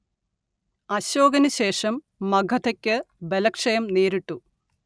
അശോകനുശേഷം മഗധയ്ക്ക് ബലക്ഷയം നേരിട്ടു